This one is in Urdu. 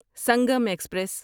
سنگم ایکسپریس